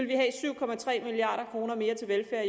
milliard kroner mere til velfærd